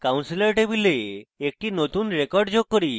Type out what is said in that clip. counselor table একটি নতুন record যোগ করি